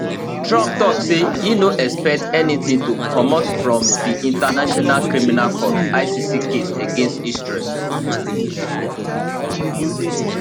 trump tok say e no expect anytim to comot from di international criminal court icc case against israel